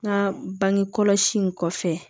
N ka bange kɔlɔsi in kɔfɛ